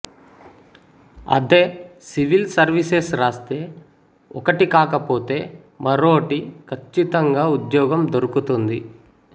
అదే civil services రాస్తే ఒకటి కాకపోతే మరోటి ఖచ్చితంగా ఉద్యోగం దొరుకుతుంది